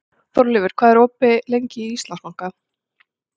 Þórleifur, hvað er lengi opið í Íslandsbanka?